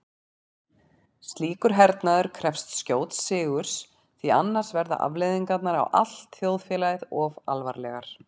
Slíkur hernaður krefst skjóts sigurs því annars verða afleiðingarnar á allt þjóðfélagið of alvarlegar.